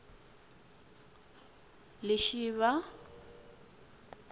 lishivha